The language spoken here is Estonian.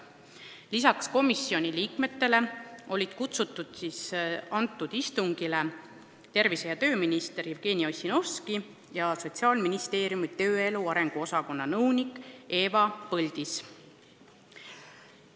Lisaks komisjoni liikmetele olid istungile kutsutud tervise- ja tööminister Jevgeni Ossinovski ja Sotsiaalministeeriumi tööelu arengu osakonna nõunik Eva Põldis.